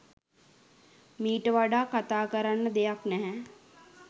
මීට වඩා කතා කරන්න දෙයක් නැහැ